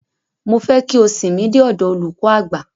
Mofẹ́ ki o sìn mi dé ọdọ olùkọ àgbà.